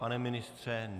Pane ministře?